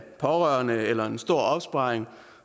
pårørende eller en stor opsparing